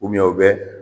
u bɛ